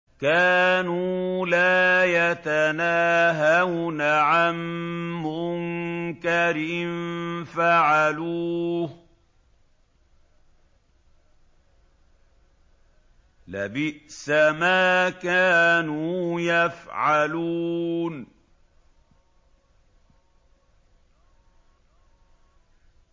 كَانُوا لَا يَتَنَاهَوْنَ عَن مُّنكَرٍ فَعَلُوهُ ۚ لَبِئْسَ مَا كَانُوا يَفْعَلُونَ